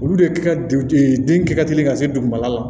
Olu de ka den kɛ ka teli ka se dugumala la